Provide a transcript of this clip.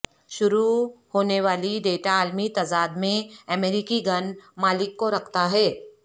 شروع ہونے والی ڈیٹا عالمی تضاد میں امریکی گن مالک کو رکھتا ہے